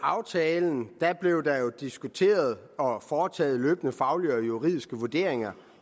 aftalen blev der jo diskuteret og foretaget løbende faglige og juridiske vurderinger